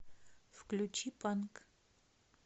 включи панк